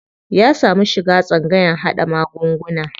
Ya samu shiga tsangayan haɗa magunguna.